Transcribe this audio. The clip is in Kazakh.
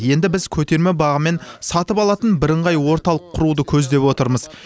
енді біз көтерме бағамен сатып алатын бірыңғай орталық құруды көздеп отырмыз